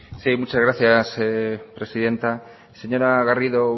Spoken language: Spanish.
sí muchas gracias presidenta señora garrido